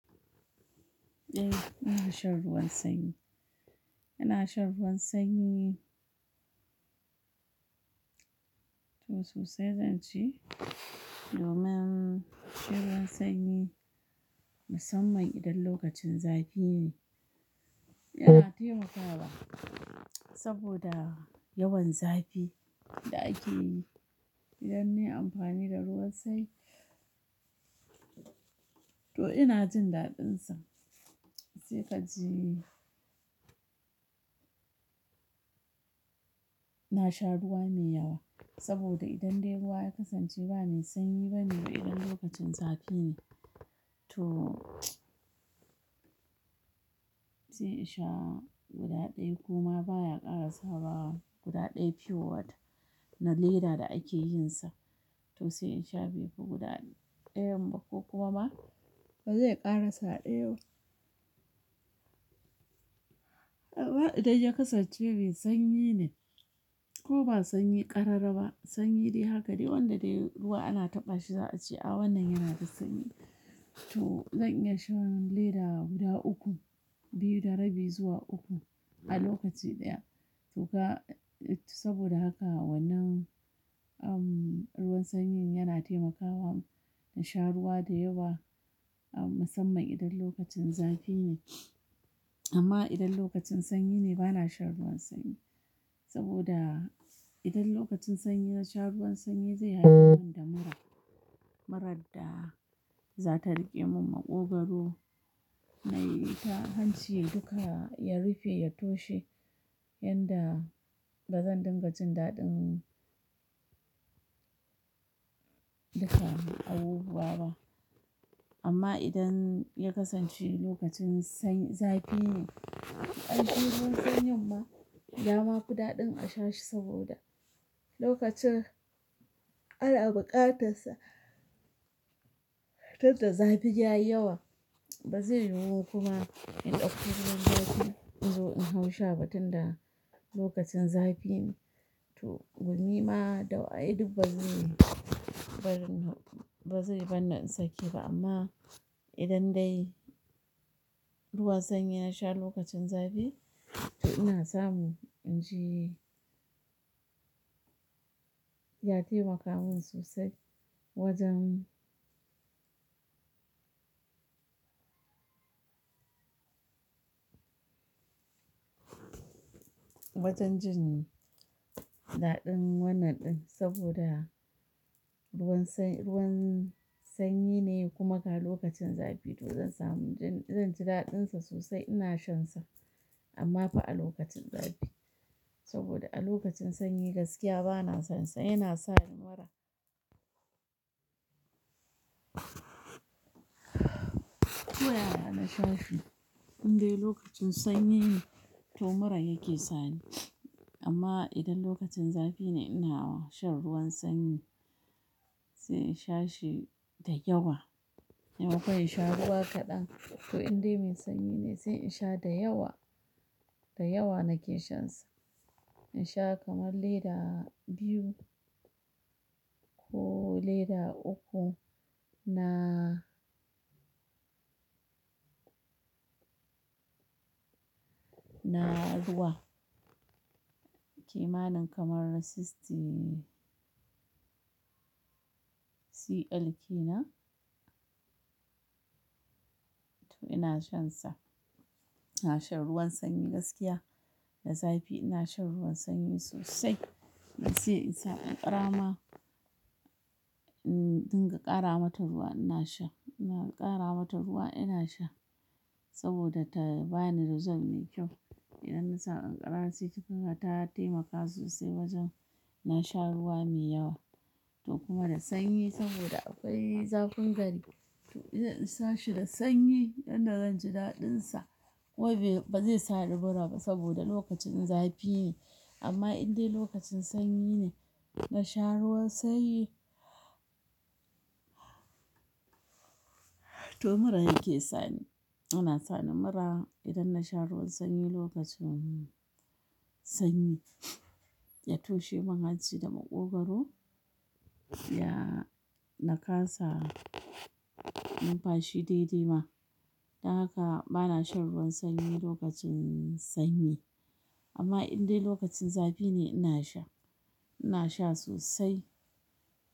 Eh, ina shan ruwan sanyi. Ina shan ruwan sanyi. To sosai zan ce, domin shan ruwan sanyi musamman idan lokacin zafi ne, yana taimakawa saboda yawan zafi da ake yi idan nayi amfani da ruwan sanyi. To inajin daɗinsa. Sai ka ji, na sha ruwa mai yawa saboda idan dai ruwa ya kasance ba me sanyi ba ne idan lokacin zafi ne. To, sai in sha guda ɗaya koma baya ƙarasa wa guda ɗaya pure water na leda da ake yin sa. To sai in sha biyu ko guda ɗayan ba ko kuma ba zai ƙarasa ɗaya ba. Idan ya kasance mai sanyi ne ko ba sanyi ƙarara ba, sanyi dai haka dai wanda dai ruwa ana taɓa shi za a ce "A wannan yana da sanyi." To zan iya shan leda guda uku, biyu da rabi zuwa uku a lokaci ɗaya. To ga saboda haka wannan, um, ruwan sanyin yana taimakawa na sha ruwa da yawa musamman idan lokacin zafi ne. Amma idan lokacin sanyi ne ba na shan ruwan sanyi saboda idan lokacin sanyi na sha ruwan sanyi zai haifar min da mura. Murar da za ta riƙe min maƙogwaro, na yi ta hanci duka ya rufe, ya toshe, yanda ba zan dinga jin daɗin duka abubuwa ba. Amma idan ya kasance lokacin sanyi-- zafi ne, ai shi ruwan sanyin ma, ya ma fida ɗin a sha shi saboda lokacin ana buƙatar da zafi yayiwa bazai yiwu kuma in ɗauko ruwan zafi inzo inhau sha ba tunda lokacin zafine to gumi ma dawaye duk ba zai yi, barni ba bazai, barni in sake ba amma idan dai ruwan sanyi na sha lokacin zafi, to ina samu in ji ya taimaka min sosai wajen, wajen jin daɗin wannan ɗin saboda ruwan sanyine kuma ga lokacin zafi to zansamu zanji daɗinsa sosai ina shansa. Amma fa a lokacin zafi saboda a lokacin sanyi gaskiya ba na son sa yana sa nimura. Ko yaya na shashi in dai lokacin sanyi ne to mura yake sani. Amma idan lokacin zafi ne ina wa shan ruwan sanyi, sai in sha shi da yawa. In akwai in sha ruwa kaɗan to in dai mai sanyi ne sai in sha da yawa, da yawa nake shan sa. In sha kamar leda biyu ko leda uku na, na ruwa. Kimanin kaman sixty CL ke nan. To ina shan sa. Ina shan ruwan sanyi gaskiya, da zafi ina shan ruwan sanyi sosai. Harsai insa ƙanƙarama in dinga ƙaramata ruwa inasha ina ƙara mata ruwa inasha saboda tabani result mekyau idan nasa ƙanƙara sai kaga ta taimaka sosai wajen nasha ruwa me yawa. To kuma da sanyi saboda akwai zafin gari. To idan in sa shi da sanyi yanda zan ji daɗin sa wai bai, ba zai sa nimura ba saboda lokacin zafi ne. Amma in dai lokacin sanyi ne, na sha ruwan sanyi, to mura yake sani. Ana sa nimura idan na sha ruwan sanyi lokacin sanyi. Ya toshe mun hanci da maƙogwaro, ya nakasa numfashi dai-dai ma. Don haka bana shan ruwan sanyi lokacin sanyi. Amma in dai lokacin zafi ne ina sha, ina sha sosai.